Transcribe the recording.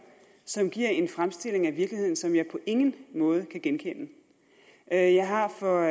som giver en fremstilling af virkeligheden som jeg på ingen måde kan genkende jeg har for